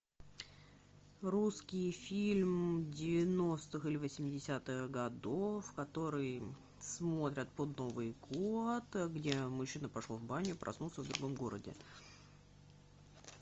русский фильм девяностых или восьмидесятых годов который смотрят под новый год где мужчина пошел в баню и проснулся в другом городе